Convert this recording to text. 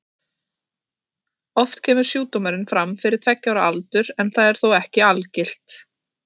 Oft kemur sjúkdómurinn fram fyrir tveggja ára aldur en það er þó ekki algilt.